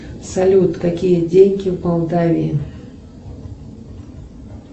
салют какие деньги в молдавии